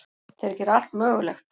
Þeir gera allt mögulegt.